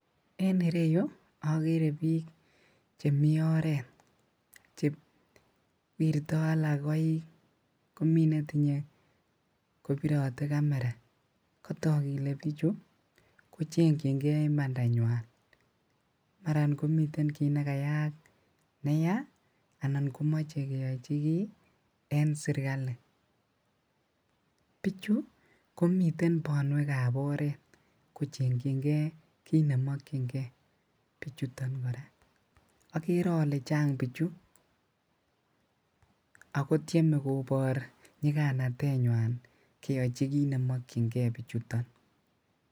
En ireyuu okeree biik chemii oreet, chewirto alak koik komii netinye kobirotee kamera, kotok kelee bichu kochengying'e imandanywan, maran komiten kiit nekayayak neyaa anan komoche keyochi kii en serikali, bichu komii bonwekab oreet kochengying'e kiit nemokying'e bichuton kora, okeree olee chang bichu akotieme kobor nyikanatenywan keyochi kiit nemokying'e bichuton.